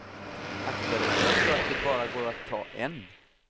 Akta dig för att tro att det går bra att bara ta en.